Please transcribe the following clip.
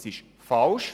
Das ist falsch: